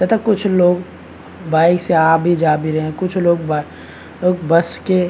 तथा कुछ लोग बाइक से आ भी जा भी रहे है कुछ लोग ब बस के --